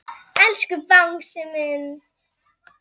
Elsku Bangsi minn.